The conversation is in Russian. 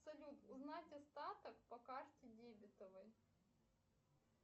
салют узнать остаток по карте дебетовой